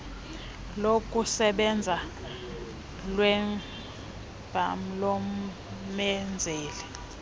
lokusebenza lwecbnrm lomenzeli